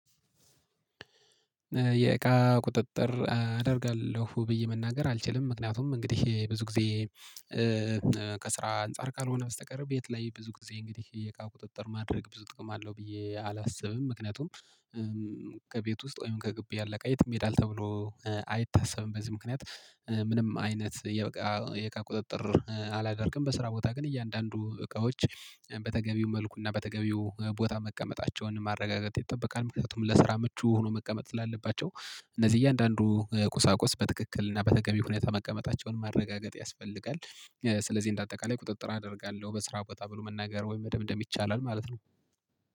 የእቃ ቁጥጥር አደርጋለሁ ብዬ መናገር አልችልም ምክንያቱም እንግዲህ ብዙ ጊዜ ከስራ አንፃር ካልሆነ በስተቀር ቤት ላይ ብዙ ጊዜ እንግዲህ የእቃ ቁጥጥር ማድረግ ብዙ ጥቅም አለው ብዬ አላስብም። ምክንያቱም ከቤት ውስጥ ወይም ከግቢ ያለ እቃ የትም ይሄዳል ተብሎ አይታሰብም በዚህ ምክንያት ምንም አይነት የእቃ የእቃ ቁጥጥር አላደርግም። በስራ ቦታ ግን እያንዳንዱ እቃዎች በተገቢው መልኩና በተገቢው ቦታ መቀመጣቸውን ማረጋገጥ ይጠበቃል። ምክንያቱም ለስራ ምቹ ሆኖ መቀመጥ ስላለባቸው እነዚህ እያንዳንዱ ቁሳቁስ በትክክል እና በተገቢ ሁኔታ መቀመጣቸውን ማረጋገጥ ያስፈልጋል። ስለዚህ እንደ አጠቃላይ ቁጥጥር አደርጋለሁ በስራ ቦታ ብሎ መናገር ወይም መደምደም ይቻላል ማለት ነው